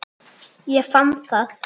Ég fann það!